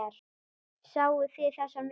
Sáuð þið þessar myndir?